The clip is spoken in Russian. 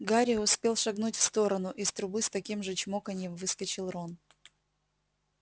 гарри успел шагнуть в сторону из трубы с таким же чмоканьем выскочил рон